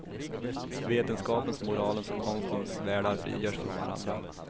Vetenskapens, moralens och konstens världar frigörs från varandra.